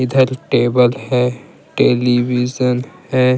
इधर टेबल है टेलीविजन है ।